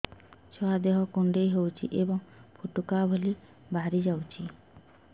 ଛୁଆ ଦେହ କୁଣ୍ଡେଇ ହଉଛି ଏବଂ ଫୁଟୁକା ଭଳି ବାହାରିଯାଉଛି